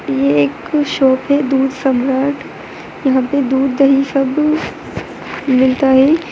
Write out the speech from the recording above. यह एक शॉप दूध सम्राट है यहाँ पर दूध दही सब मिलता है।